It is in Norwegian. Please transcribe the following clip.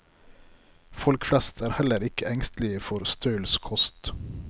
Folk flest er heller ikke engstelige for stølskost.